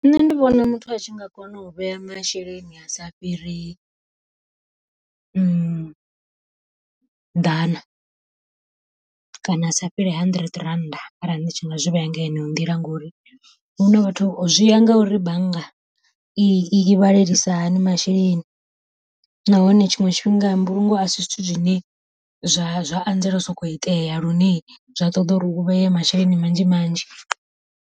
Nṋe ndi vhona muthu a tshi nga kona u vhea masheleni a sa fhiri, ḓana kana a sa fheli hundred rand arali ndi tshi nga zwi vhea ngeno nḓila. Ngori vhathu zwi ya ngauri bannga i vhalelisa hani masheleni, nahone tshiṅwe tshifhinga mbulungo a si zwithu zwine zwa zwa anzela u sokou itea lune zwa ṱoḓa uri u vhee masheleni manzhi manzhi.